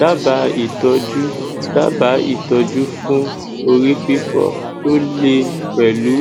daba itoju daba itoju fun ori fifo to le pelu